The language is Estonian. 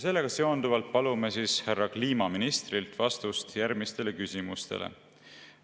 Sellega seonduvalt palume härra kliimaministrilt vastust järgmistele küsimustele.